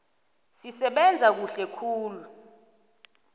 sisebenze kuhle khulu